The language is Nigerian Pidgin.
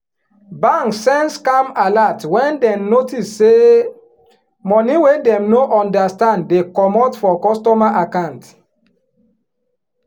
bank send scam alert wen den notice say money wey dem no understand dey commot for customer account